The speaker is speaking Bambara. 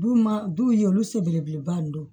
Du ma du ye olu sen belebeleba nin don